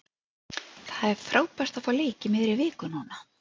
Það er frábært að fá leik í miðri viku núna.